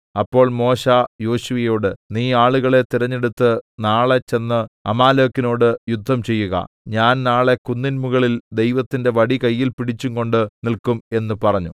അപ്പോൾ മോശെ യോശുവയോട് നീ ആളുകളെ തിരഞ്ഞെടുത്ത് നാളെ ചെന്ന് അമാലേക്കിനോടു യുദ്ധം ചെയ്യുക ഞാൻ നാളെ കുന്നിൻമുകളിൽ ദൈവത്തിന്റെ വടി കയ്യിൽ പിടിച്ചുംകൊണ്ട് നില്ക്കും എന്ന് പറഞ്ഞു